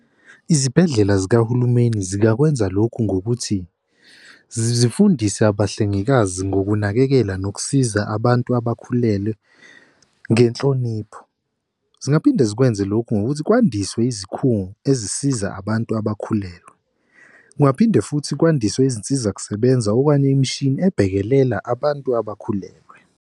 Izibhedlela zikahulumeni zingakwenza lokhu ngokuthi zifundise abahlengikazi ngokunakekela nokusiza abantu abakhulelwe ngenhlonipho zingaphinde zikwenze lokhu ngokuthi kwandiswe izikhungo ezisiza abantu abakhulelwe, kungaphinde futhi kwandiswe izinsiza kusebenza okanye imishini ebhekelela abantu abakhulelwe.